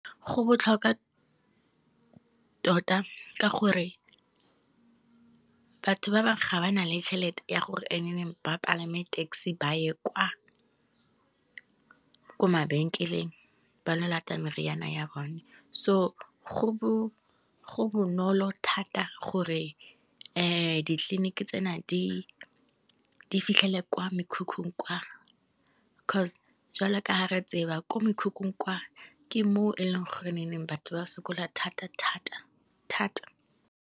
Go botlhokwa tota ka gore batho ba bangwe ga ba na le tšhelete ya gore ba palame taxi ba ye kwa, ko mabenkeleng ba lo lata meriana ya bone. So go bonolo thata gore ditleliniki tsena di fitlhele kwa mekhukhung kwa, coz jwale ka ha re tseba ko mekhukhung kwa ke mo e leng gore nneng batho ba sokola thata thata thata.